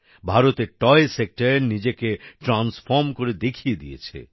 ভারতের toy sector নিজেকে transform করে দেখিয়ে দিয়েছে